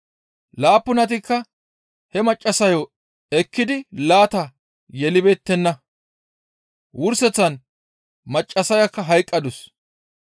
Laappunatikka he maccassayo ekkidi laata yelibeettenna; wurseththan maccassayakka hayqqadus.